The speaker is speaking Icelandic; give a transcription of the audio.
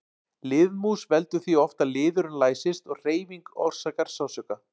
Liðmús veldur því oft að liðurinn læsist og hreyfing orsakar sársauka.